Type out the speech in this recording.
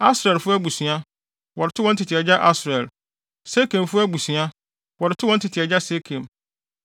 Asrielfo abusua, wɔde too wɔn tete agya Asriel; Sekemfo abusua, wɔde too wɔn tete agya Sekem;